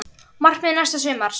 Markmið næsta sumars?